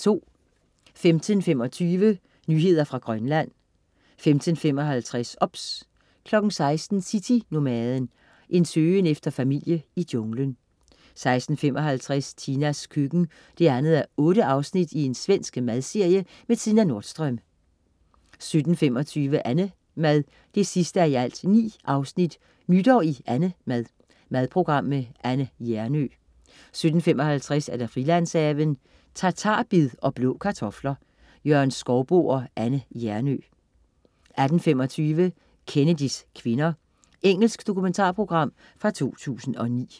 15.25 Nyheder fra Grønland 15.55 OBS 16.00 City-Nomaden. En søgen efter familie i junglen 16.55 Tinas køkken 2:8. Svensk madserie med Tina Nordström 17.25 AnneMad 9:9. Nytår i AnneMad. Madprogram med Anne Hjernø 17.55 Frilandshaven. Tatarbed og blå kartofler. Jørgen Skouboe og Anne Hjernøe 18.25 Kennedys kvinder. Engelsk dokumentarprogram fra 2009